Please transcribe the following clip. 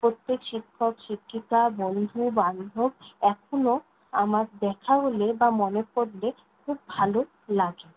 প্রত্যেক শিক্ষক-শিক্ষিকা বন্ধু-বান্ধব এখনও আমার দেখা হলে বা মনে পড়লে খুব ভালো লাগে।